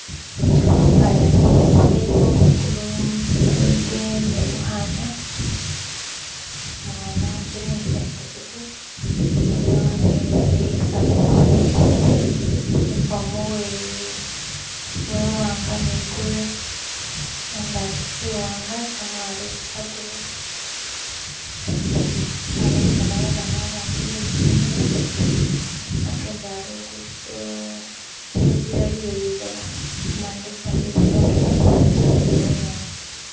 Bana belisomelo kulu umusinde nu mukana, ukana hambilingisa epikipiki, umisinde wamemile esawu emali enifomu we mwanga ni gure, shangagi shiwanga shamwalo shagure, hatayi endukubonayo babana bandi belisomelo bagendela lungudo; ezila yeliloba kumuhande zombii kuliko gimasaala ni bunyasi